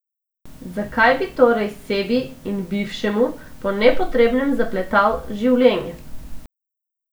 Zakaj bi torej sebi in bivšemu po nepotrebnem zapletal življenje?